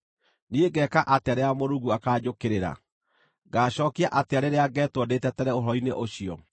niĩ ngeeka atĩa rĩrĩa Mũrungu akaanjũkĩrĩra? Ngaacookia atĩa rĩrĩa ngeetwo ndĩĩtetere ũhoro-inĩ ũcio?